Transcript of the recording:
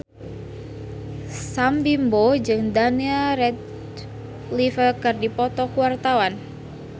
Sam Bimbo jeung Daniel Radcliffe keur dipoto ku wartawan